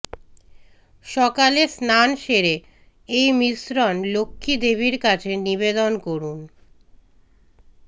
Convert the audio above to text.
সকালে স্নান সেরে এই মিশ্রণ লক্ষ্মী দেবীর কাছে নিবেদন করুন